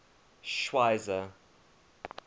schweizer